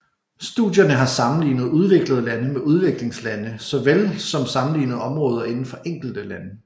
Studierne har sammenlignet udviklede lande med udviklingslande såvel som sammenlignet områder inden for enkelte lande